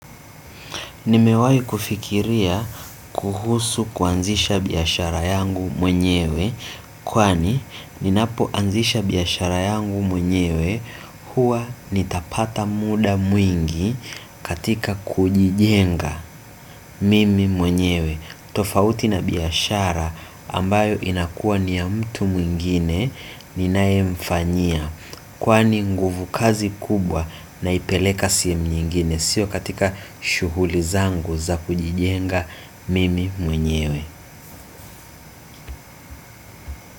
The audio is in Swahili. Nimewahi kufikiria kuhusu kuanzisha biashara yangu mwenyewe. Kwani ninapoanzisha biashara yangu mwenyewe huwa nitapata muda mwingi katika kujijenga mimi mwenyewe tofauti na biashara ambayo inakuwa ni ya mtu mwingine ninaemfanyia. Kwani nguvu kazi kubwa naipeleka sehemu nyengine sio katika shughuli zangu za kujijenga mimi mwenyewe.